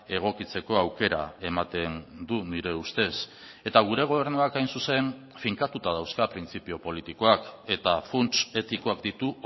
egokitzeko aukera ematen du nire ustez eta gure gobernuak hain zuzen finkatuta dauzka printzipio politikoak eta funts etikoak ditu